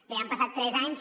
bé han passat tres anys